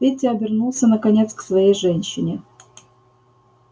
петя обернулся наконец к своей женщине